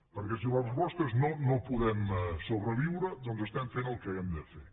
perquè si la resposta és no no podem sobreviure doncs estem fent el que hem de fer